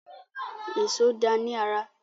Èṣó dáa ní ara.